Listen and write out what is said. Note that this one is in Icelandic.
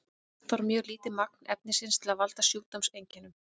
oft þarf mjög lítið magn efnisins til að valda sjúkdómseinkennum